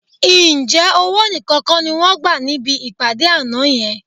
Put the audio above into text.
Ǹjẹ́ owó nìkan kọ́ ni wọ́n gbà níbi ìpàdé àná yẹn?